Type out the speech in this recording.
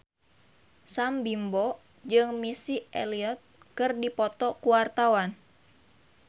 Sam Bimbo jeung Missy Elliott keur dipoto ku wartawan